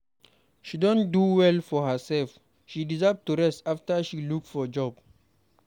She don do well for herself. She deserve to rest after she look for job.